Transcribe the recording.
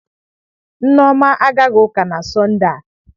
Nneoma agaghị uka na Sọnde a.